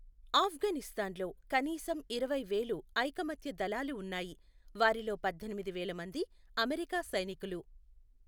ఆఫ్ఘనిస్తాన్లో కనీసం ఇరవై వేలు ఐకమత్య దళాలు ఉన్నాయి, వారిలో పద్దెనిమిది వేల మంది అమెరికా సైనికులు.